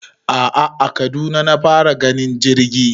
a'a a Kaduna na fara ganin jirgi